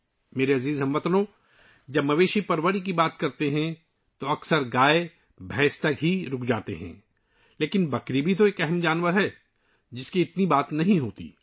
میرے پیارے ہم وطنو، جب ہم مویشی پالنے کی بات کرتے ہیں تو اکثر گائے اور بھینسوں پر ہی رک جاتے ہیں لیکن بکری بھی ایک اہم جانور ہے، جس پر زیادہ بات نہیں کی جاتی